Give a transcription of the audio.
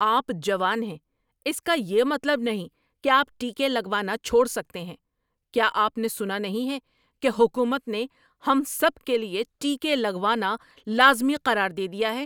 آپ جوان ہیں اس کا یہ مطلب نہیں ہے کہ آپ ٹیکے لگوانا چھوڑ سکتے ہیں۔ کیا آپ نے سنا نہیں ہے کہ حکومت نے ہم سب کے لیے ٹیکے لگوانا لازمی قرار دے دیا ہے؟